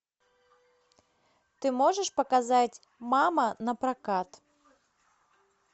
ты можешь показать мама напрокат